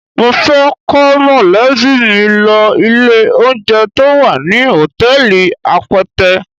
Mo fẹ́ kó mọ̀lẹ́bí mi lọ ilé-oúnjẹ to wà ní hòtẹ́ẹ̀lì Apẹtẹ.